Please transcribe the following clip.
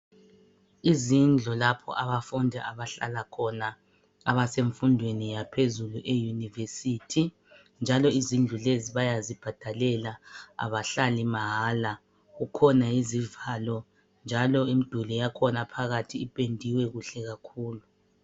Izindlu lapho abafundi abahlala khona abasemfundweni yaphezulu e university njalo izindlu lezi bayazibhadalela abahlali mahala kukhona izivalo njalo imduli yakhona phakathi ipendiwe kuhle kakhulu